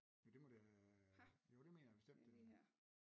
Jo det må det øh jo det mener jeg bestemt det er